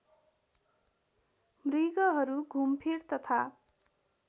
मृगहरू घुमफिर तथा